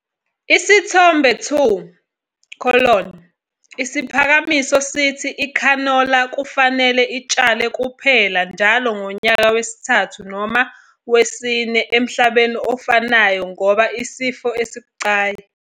Isithombe 2- Isiphakamiso sithi ikhanola kufanele itshalwe kuphela njalo ngonyaka wesithathu noma wesine emhlabeni ofanayo ngoba isifo esibucayi.